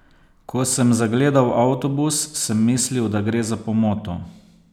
Ko sem zagledal avtobus, sem mislil, da gre za pomoto.